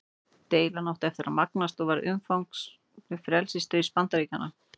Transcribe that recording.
Deilan átti eftir að magnast og varð undanfari frelsisstríðs Bandaríkjanna.